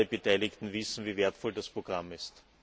Alle Beteiligten wissen, wie wertvoll das Programm ist.